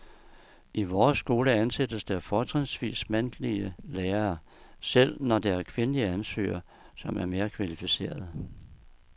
I vores skole ansættes der fortrinsvis mandlige lærere, selv når der er kvindelige ansøgere, som er mere kvalificerede.